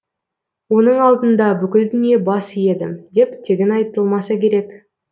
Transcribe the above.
оның алдында бүкіл дүние бас иеді деп тегін айтылмаса керек